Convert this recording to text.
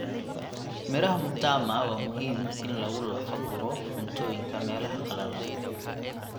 Miraha mtama waa muhiim in lagu lafa guro cuntooyinka meelaha qalalan.